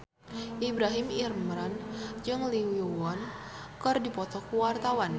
Ibrahim Imran jeung Lee Yo Won keur dipoto ku wartawan